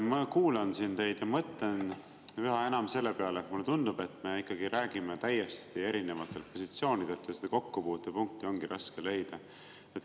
Ma kuulan siin teid ja mõtlen üha enam selle peale, et mulle tundub, et me ikkagi räägime täiesti erinevatelt positsioonidelt ja seda kokkupuutepunkti ongi raske leida.